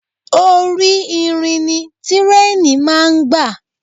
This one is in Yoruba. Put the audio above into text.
Orí irin ni tírèènì máa ń gbà.